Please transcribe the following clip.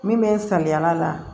Min bɛ n saliya la